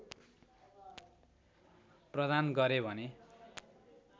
प्रदान गरे भने